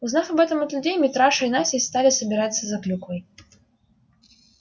узнав об этом от людей митраша и настя стали собираться за клюквой